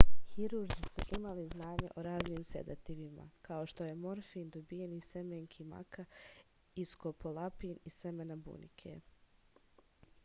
hirurzi su imali znanje o raznim sedativima kao što je morfin dobijen iz semenki maka i skopolamin iz semena bunike